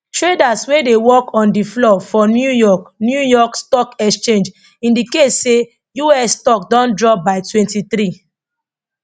traders wey dey work on di floor for new york new york stock exchange indicate say us stock don drop by 23